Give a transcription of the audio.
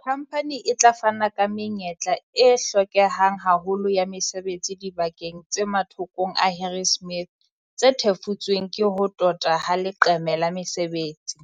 "Khamphane e tla fana ka menyetla e hlokehang haholo ya mesebetsi dibakeng tse mathokong a Harrismith tse thefutsweng ke ho tota ha leqeme la mesebetsi,"